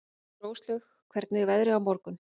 Róslaug, hvernig er veðrið á morgun?